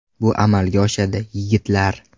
Bu amalga oshadi, yigitlar.